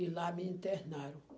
E lá me internaram.